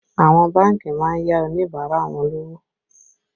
Àwọn bánkì má ń yá Oníbàárà wọn lówó